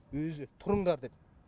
өзі тұрыңдар деп